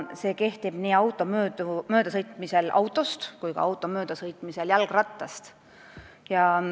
See kehtib nii siis, kui auto sõidab mööda autost, kui ka siis, kui auto sõidab mööda jalgrattast.